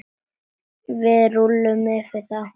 Við rúllum yfir þá!